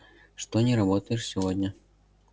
что не работаешь сегодня